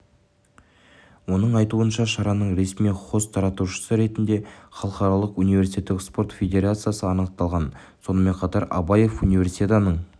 оның айтуынша шараның ресми хост таратушысы ретінде халықаралық университеттік спорт федерациясы анықталған сонымен қатар абаев универсиаданың